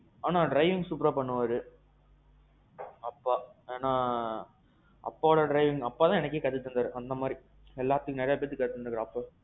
ஆனா driving superஆ பண்ணுவாரு. அப்பா. ஏன்னா, அப்பாவோட driving அப்பாதான் driving கத்துத்தந்தார் எனக்கு அந்த மாதிரி. எல்லாத்துக்கும் நெறைய பெத்துக்கு காது தந்தார்.